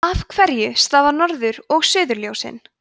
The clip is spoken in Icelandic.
af hverju stafa norður og suðurljósin